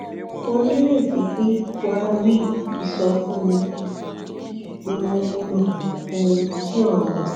mo nireti pé wàá rí ìsọfúnni yìí pé ó wúlò mo n ki o